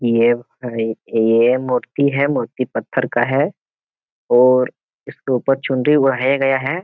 ये है ये मूर्ति है। मूर्ति पत्थर का है और इसके ऊपर चुनरी ओढ़ाया गया है।